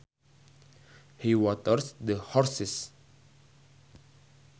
He waters the horses